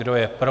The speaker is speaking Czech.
Kdo je pro?